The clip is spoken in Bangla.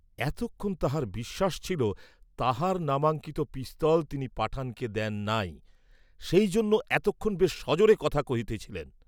এতক্ষণ তাঁহার বিশ্বাস ছিল, তাঁহার নামাঙ্কিত পিস্তল তিনি পাঠানকে দেন নাই, সেই জন্য এতক্ষণ বেশ সজোরে কথা কহিতেছিলেন।